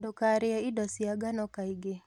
Ndũkarĩe indo cia ngano kaingĩ